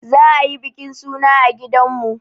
Za a yi bikin suna a gidanmu.